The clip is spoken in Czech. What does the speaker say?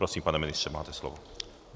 Prosím, pane ministře, máte slovo.